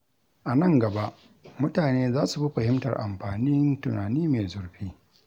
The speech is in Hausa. A nan gaba, mutane za su fi fahimtar amfanin tunani mai zurfi.